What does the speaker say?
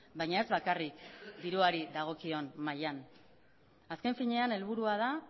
baina ez bakarrik diruari dagokion mailan azken finean helburua da